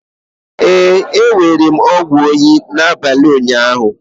Ee, e nyere ọgwụ oyi n'abalị ụnyaahụ.